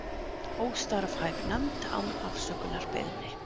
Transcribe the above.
Óstarfhæf nefnd án afsökunarbeiðni